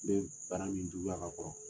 N bɛ bana min juguya ka kɔrɔ